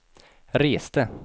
reste